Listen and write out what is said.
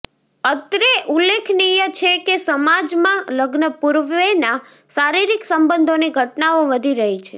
અત્રે ઉલ્લેખનીય છે કે સમાજમાં લગ્નપૂર્વેના શારીરિક સંબંધોની ઘટનાઓ વધી રહી છે